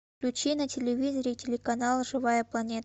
включи на телевизоре телеканал живая планета